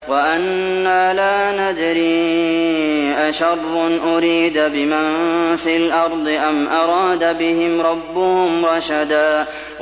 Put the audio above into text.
وَأَنَّا لَا نَدْرِي أَشَرٌّ أُرِيدَ بِمَن فِي الْأَرْضِ أَمْ أَرَادَ بِهِمْ رَبُّهُمْ رَشَدًا